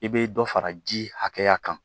I bɛ dɔ fara ji hakɛya kan